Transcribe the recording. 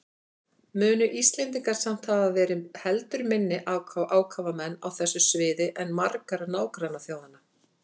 Munu Íslendingar samt hafa verið heldur minni ákafamenn á þessu sviði en margar nágrannaþjóðanna.